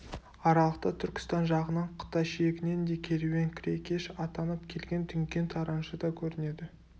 аралықта түркістан жағынан қытай шегінен де керуен-кірекеш атанып келген дүңген тараншы да көрінеді